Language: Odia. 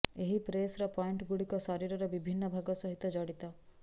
ଏହି ପ୍ରେସର୍ ପଏଣ୍ଟଗୁଡ଼ିକ ଶରୀରର ବିଭିନ୍ନ ଭାଗ ସହିତ ଜଡ଼ିତ